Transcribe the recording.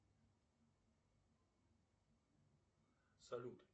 салют